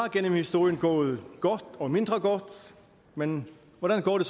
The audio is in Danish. igennem historien gået godt og mindre godt men hvordan går det